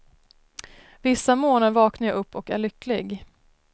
Vissa morgnar vaknar jag upp och är lycklig.